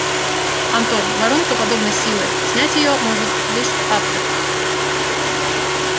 антон воронка подобной силы снять её может лишь автор